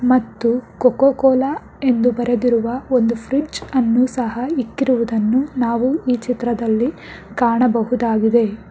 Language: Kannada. ಮತ್ತು ಕೋಕೋ ಕೋಲಾ ಎಂದು ಬರೆದಿರುವ ಒಂದು ಫ್ರಿಜ಼್ ಅನ್ನು ಸಹ ಇಕ್ಕಿರುವುದನ್ನು ನಾವು ಈ ಚಿತ್ರದಲ್ಲಿ ಕಾಣಬಹುದಾಗಿದೆ.